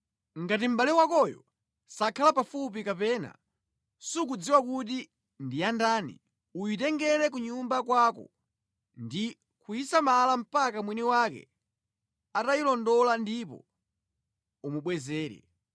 Ngati mʼbale wakoyo sakhala pafupi kapena sukudziwa kuti ndi yandani, uyitengere ku nyumba kwako ndi kuyisamala mpaka mwini wake atayilondola ndipo umubwezere.